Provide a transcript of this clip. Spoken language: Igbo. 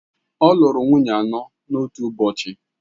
Ọ lụrụ nwunye ya anọ n’otu ụbọchị